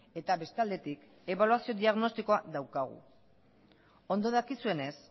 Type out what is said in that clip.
eta beste aldetik ebaluazio diagnostikoa daukagu ondo dakizuenez